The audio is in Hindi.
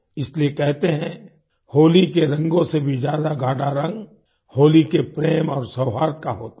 इसलिए कहते है होली के रंगों से भी ज्यादा गाढ़ा रंग होली के प्रेम और सौहार्द का होता है